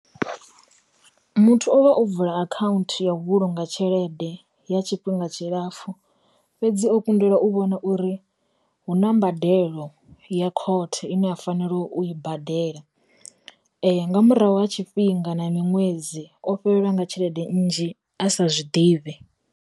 Muthu uvha o vula akhaunthu ya u vhulunga tshelede ya tshifhinga tshilapfu, fhedzi o kundelwa u vhona uri hu na mbadelo ya khothe ine a fanela u i badela, nga murahu ha tshifhinga na miṅwedzi o fhelelwa nga tshelede nnzhi a sa zwiḓivhe.